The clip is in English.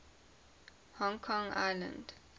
hong kong island